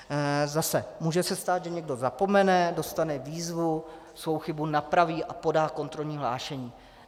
Zase - může se stát, že někdo zapomene, dostane výzvu, svou chybu napraví a podá kontrolní hlášení.